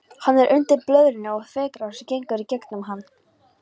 Hann er undir blöðrunni og þvagrásin gengur í gegnum hann.